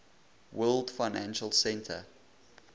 world financial center